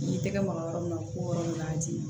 N'i tɛgɛ maga yɔrɔ min na ko yɔrɔ in b'a di